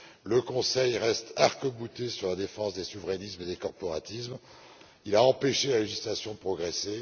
le Conseil reste arcbouté sur la défense des souverainismes et des corporatismes. Il a empêché la législation de progresser.